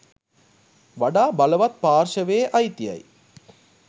වඩා බලවත් පාර්ශවයේ අයිතියයි.